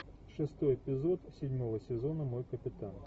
шестой эпизод седьмого сезона мой капитан